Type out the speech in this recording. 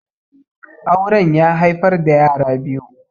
Auren ƴa haifar da yara biyu.